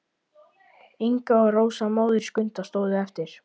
Inga og Rósa, móðir Skunda, stóðu eftir.